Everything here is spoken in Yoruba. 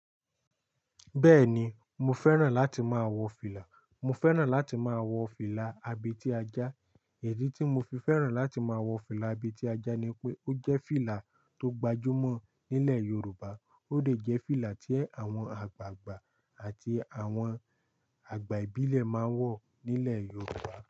Bẹ́ẹ̀ni, mo fẹ́ràn láti máa wọ fìlà. Mo fẹ́ràn láti máa wọ fìlà abètíajá. Idi tí mo fi fẹ́ràn láti máa wọ fìlà abètíajá ni pé ó jẹ́ fìlà tó gbajúmọ̀ nílẹ̀ Yorùbá. Ó dè jẹ́ fìlà tí àwọn àgbààgbà àti àwọn àgbà ìbílẹ̀ máa ń wọ nílẹ̀ Yorùbá.